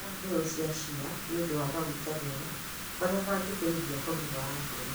Iria mbeũ cia chia nĩ ũndũ wa maguta mega marĩa mangĩteithia ũgima wa ngoro.